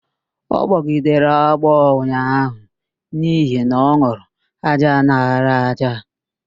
Ọ gbọgidere agbọọ unyaahụ n'ihi na ọn̄ụrụ ájá lara ájá